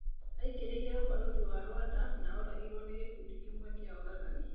Aingĩrĩre ũbarũthĩ wa Rwanda na oragĩrwo nĩ gĩkundĩ kĩmwe kĩa oragani.